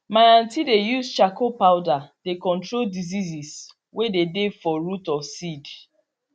my aunty dey use charcoal powder they control diseases way dey dey for root of seed